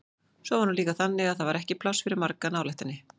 Svo var hún líka þannig að það var ekki pláss fyrir marga nálægt henni.